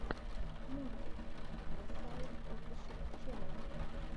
мультик кросаут офишэл ченел